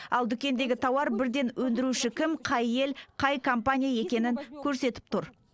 ал дүкендегі тауар бірден өндіруші кім қай ел қай компания екенін көрсетіп тұр